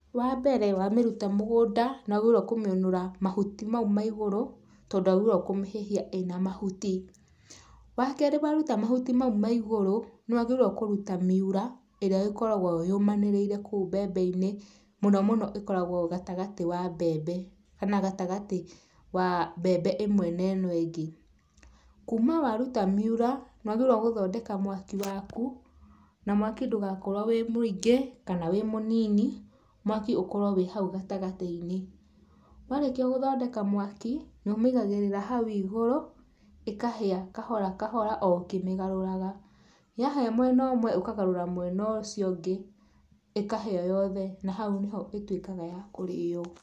Wambere wamĩruta mũgũnda nĩwagĩrĩirũo kũmĩũnũra mahuti mau ma igũrũ, tondũ ndũagĩrĩirũo kũmĩhĩhia ĩna mahuti. Wakerĩ waruta mahuti mau ma igũrũ, nĩwagĩrĩirũo kũruta miura, ĩrĩa ĩkoragũo yũmanĩrĩire kũu mbembe-inĩ, mũno mũno ĩkoragũo gatagatĩ wa mbembe, kana gatagatĩ wa mbembe ĩmwe na ĩno ĩngĩ. Kuma waruta miura nĩwagĩrĩirũo nĩgũthondeka mwaki waku, na mwaki ndũgakorũo wĩ mũingĩ, kana wĩ mũnini. Mwaki ũkorũo wĩ hau gatagatĩ-inĩ. Warĩkia gũthondeka mwaki nĩũmĩigagĩrĩra hau igũru, ĩkahĩa, kahora, kahora o ũkĩmĩgarũraga. Yahĩa mwena ũmwe, ũkagarũra mwena ũcio ũngĩ, ĩkahĩa yothe, na hau nĩho ĩtuĩkaga ya kũrĩo.